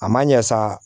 A ma ɲɛ sa